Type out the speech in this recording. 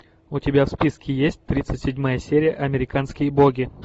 у тебя в списке есть тридцать седьмая серия американские боги